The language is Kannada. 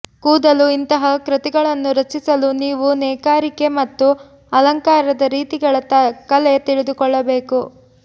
ಕೂದಲು ಇಂತಹ ಕೃತಿಗಳನ್ನು ರಚಿಸಲು ನೀವು ನೇಕಾರಿಕೆ ಮತ್ತು ಅಲಂಕಾರದ ರೀತಿಗಳ ಕಲೆ ತಿಳಿದುಕೊಳ್ಳಬೇಕು